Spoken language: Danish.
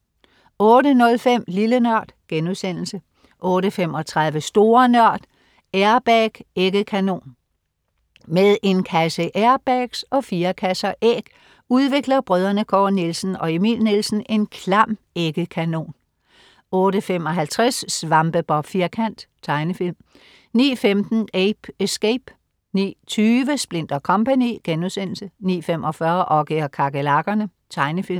08.05 Lille NØRD* 08.35 Store Nørd. Air-bag-æggekanon. Med en kasse airbags og fire kasser æg udvikler brødrene Kåre Nielsen og Emil Nielsen en klam æggekanon 08.55 Svampebob Firkant. Tegnefilm 09.15 Ape Escape 09.20 Splint & Co* 09.45 Oggy og kakerlakkerne. Tegnefilm